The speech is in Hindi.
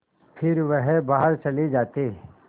फिर वह बाहर चले जाते